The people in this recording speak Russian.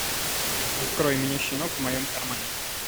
открой мне щенок в моем кармане